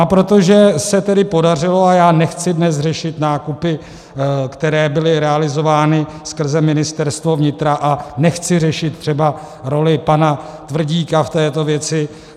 A protože se tedy podařilo - a já nechci dnes řešit nákupy, které byly realizovány skrze Ministerstvo vnitra, a nechci řešit třeba roli pana Tvrdíka v této věci.